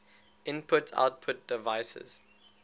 input output devices